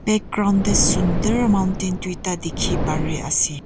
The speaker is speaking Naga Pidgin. Background dae sundur mountain duida dekhe pare ase.